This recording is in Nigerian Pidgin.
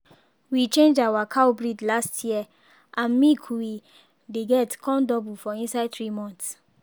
we change our cow breed last year and and milk we dey get come double for inside three months.